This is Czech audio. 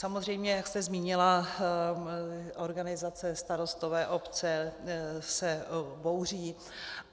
Samozřejmě jak jste zmínila, organizace, starostové, obce se bouří.